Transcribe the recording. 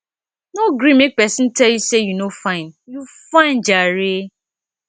no gree make pesin tell you sey you no fine you fine jare